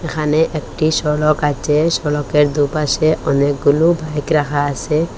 এখানে একটি সড়ক আছে সড়কের দুপাশে অনেকগুলো বাইক রাখা আসে ।